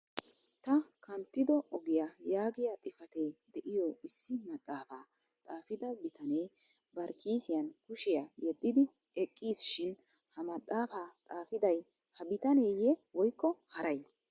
" ta kanttido ogiyaa yaagiya xifatee de'iyo issi maxaafa xaafida bitanee bari kiisiyaan kushiyaa yedidi eqqiis shin ha maxaafa xaafiday ha bitaneeyye woykoo haray?